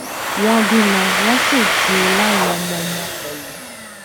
wọn bímọ wọn sì ti láwọn ọmọọmọ pẹlú